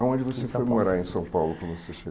Aonde você foi morar em São Paulo quando você chegou?